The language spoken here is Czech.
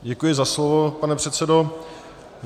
Děkuji za slovo, pane předsedo.